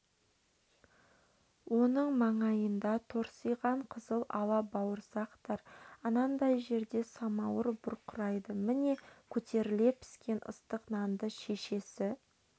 оның маңайында торсиған қызыл ала бауырсақтар анадай жерде самауыр бұрқырайды міне көтеріле піскен ыстық нанды шешесі